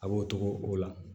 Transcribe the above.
A b'o togo o la